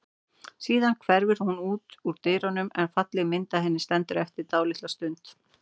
Síðan hverfur hún út úr dyrunum en falleg mynd af henni stendur eftir dálitla stund.